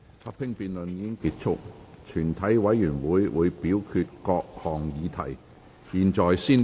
合併辯論已結束，全體委員會會表決各項議題。